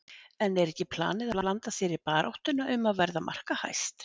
En er ekki planið að blanda sér í baráttuna um að verða markahæst?